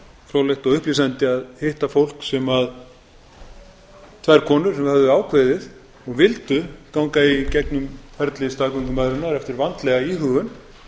fróðlegt og upplýsandi að hitta þær konur sem höfðu ákveðið og vildu ganga í gegnum ferli staðgöngumæðrunar eftir vandlega íhugun